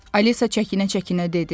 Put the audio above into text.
Alisa çəkinə-çəkinə dedi.